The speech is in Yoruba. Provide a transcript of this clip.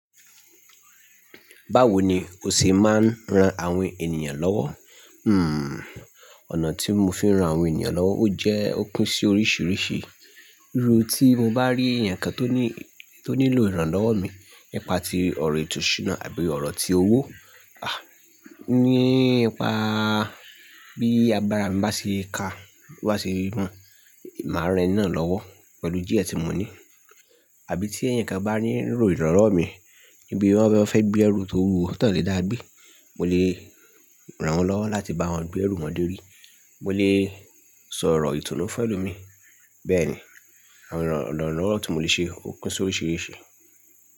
Báwo ni o ṣe máa ń ran àwọn ènìyàn lọ́wọ́? Hmm, ọ̀nà tí mo fi ń ran àwọn ènìyàn lọ́wọ́ ó jẹ́ ó kún sí oríṣìíríṣìí. Irú tí mo bá rí èèyàn kan tó ní, tó nílò ìrànlọ́wọ́ mi, nipa ti ọ̀rọ̀ ìtọ́ṣinà àbí ọ̀rọ̀ ti owó, à ní ipa bí agbára mi bá ṣe ka, bá ṣe mọ, màá ran eni na lọ́wọ́ pẹ̀lú díẹ̀ tí mo ní. Àbí tí èèyàn kan bá ní lo ìrànlọ́wọ́ mi níbi tí wọ́n fẹ́ gbé ẹrù tó wuwo, tón lè dá gbé, mo lè ràn wọ́n lọ́wọ́ láti bá wọn gbé ẹrù wọn dé orí. Mo lè sọ ọ̀rọ̀ ìtọ́nu fún ẹlòmíí, bẹ́ẹ̀ ni àwọn ìrànlọ́wọ́ tí mo lè ṣe ó kún sí oríṣìíríṣìí.